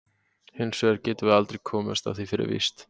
Hins vegar getum við aldrei komist að því fyrir víst.